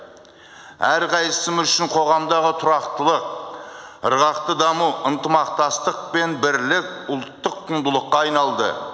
әрқайсымыз үшін қоғамдағы тұрақтылық ырғақты даму ынтымақтастық пен бірлік ұлттық құндылыққа айналды